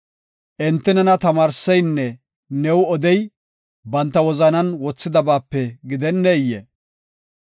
Enti nena tamaarseynne new odey, banta wozanan wothidabaape gidenneyee?